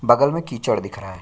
बगल में कीचड दिख रहा है।